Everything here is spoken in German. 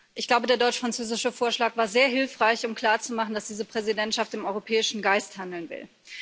Ich glaube, der deutsch französische Vorschlag war sehr hilfreich, um klarzumachen, dass diese Präsidentschaft im europäischen Geist handeln will.